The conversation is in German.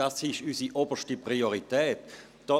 Das ist unsere oberste Priorität.»